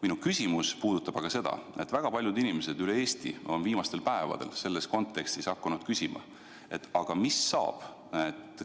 Minu küsimus puudutab aga seda, et väga paljud inimesed üle Eesti on viimastel päevadel selles kontekstis hakanud küsima, mis saab,